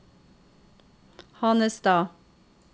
Hanestad